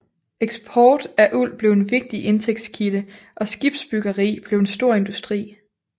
Eksport af uld blev en vigtig indtægtskilde og skibsbyggeri blev en stor industri